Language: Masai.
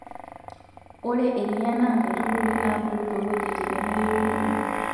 Ore eriyaa naa nkaitubulu naa bulu toong'wejitin nemeyieunoyu.